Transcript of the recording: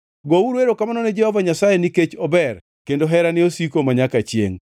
Gouru erokamano ne Jehova Nyasaye nikech ober; kendo herane osiko manyaka chiengʼ.